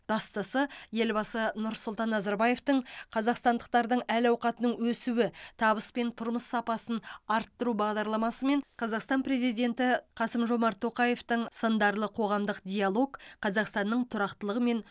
бастысы елбасы нұрсұлтан назарбаевтың қазақстандықтардың әл ауқатының өсуі табыс пен тұрмыс сапасын арттыру бағдарламасы мен қазақстан президенті қасым жомарт тоқаевтың сындарлы қоғамдық диалог қазақстанның тұрақтылығы мен